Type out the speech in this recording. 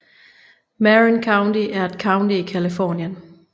Marin County er et county i Californien